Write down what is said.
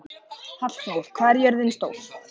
Hallþór, hvað er jörðin stór?